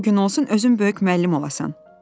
O gün olsun özün böyük müəllim olasan.